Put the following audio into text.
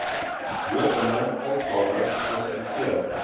lopende uitgawe geklassifiseer